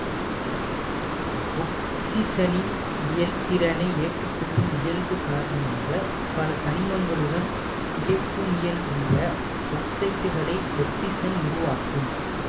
ஒக்சிசனின் இலத்திரனை ஏற்று கொள்ளும் இயல்பு காரணமாக பல தனிமங்களுடன் நிலைக்குமியல்புள்ள ஒக்சைட்டுகளை ஒக்சிசன் உருவாக்கும்